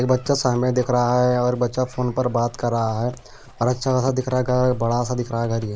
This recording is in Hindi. एक बच्चा सामने देख रहा है और बच्चा फोन पर बात कर रहा है और अच्छा खासा दिख रहा है घर बड़ा सा दिख रहा है घर ये --